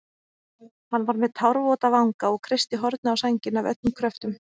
Hann var með tárvota vanga og kreisti hornið á sænginni af öllum kröftum.